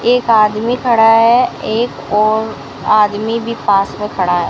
एक आदमी खड़ा है एक और आदमी भी पास में खड़ा है।